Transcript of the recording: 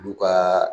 Olu ka